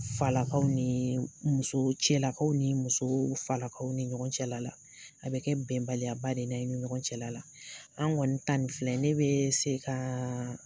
Falakaw ni musow, cɛlalakaw ni musow, falakaw ni ɲɔgɔn cɛla la. A bɛ kɛ bɛnbaliya ba de n'a ye ni ɲɔgɔn cɛla la, an kɔni ta ni filɛ ne bɛ se ka